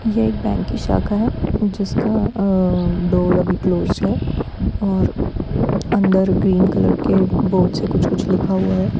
यह एक बैंक की शाखा है जिसका अअ डोर अभी क्लोज है और अंदर ग्रीन कलर के बोर्ड से कुछ-कुछ लिखा हुआ है।